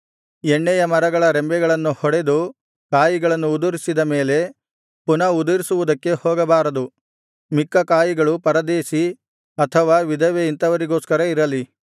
ಎಣ್ಣೆಯಮರಗಳ ರೆಂಬೆಗಳನ್ನು ಹೊಡೆದು ಕಾಯಿಗಳನ್ನು ಉದುರಿಸಿದ ಮೇಲೆ ಪುನಃ ಉದುರಿಸುವುದಕ್ಕೆ ಹೋಗಬಾರದು ಮಿಕ್ಕ ಕಾಯಿಗಳು ಪರದೇಶಿ ಅನಾಥ ವಿಧವೆ ಇಂಥವರಿಗೋಸ್ಕರ ಇರಲಿ